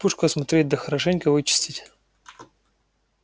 пушку осмотреть да хорошенько вычистить